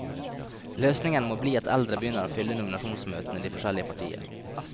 Løsningene må bli at eldre begynner å fylle nominasjonsmøtene i de forskjellige partier.